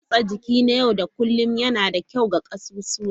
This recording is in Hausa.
Motsa jiki na yau da kullun yana da kyau ga ƙasusuwa.